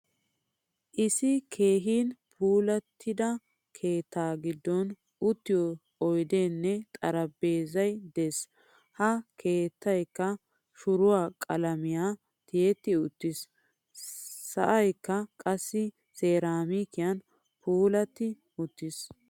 Issi keehin puulattida keettaa giddon uttiyo oydene xaraphphezzay de'ees. Ha keettaykka shuruwaa qalame tiyetti uttiis. Sa'aykka qassi seramikiyan puulati uttiis.